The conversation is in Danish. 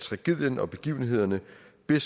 vi